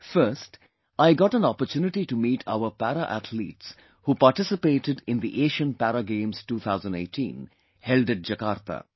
First, I got an opportunity to meet our Para Athletes who participated in the Asian Para Games 2018 held at Jakarta